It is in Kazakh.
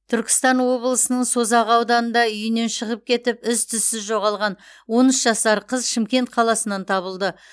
түркістан облысының созақ ауданында үйінен шығып кетіп із түссіз жоғалған он үш жасар қыз шымкент қаласынан табылды